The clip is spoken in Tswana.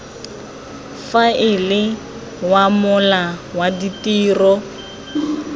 faela wa mola wa ditiro